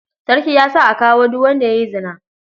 Sarki ya sa a kamo duk wanda ya yi zina.